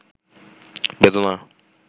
বেদনা